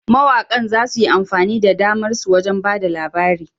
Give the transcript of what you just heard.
Mawaƙan za su yi amfani da damar su wajen ba da labari.